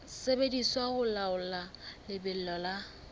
sebediswa ho laola lebelo la